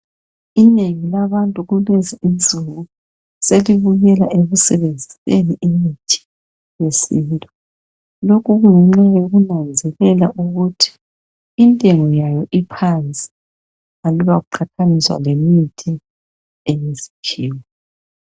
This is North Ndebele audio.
Inengi labantu kulezinsuku selibuyela ekusebenziseni imithi yesintu lokhu kungenxa yokunanzelela ukuthi intengo yayo iphansi aluba kuqathaniswa lemithi yesikhiwa